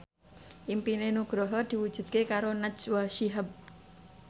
impine Nugroho diwujudke karo Najwa Shihab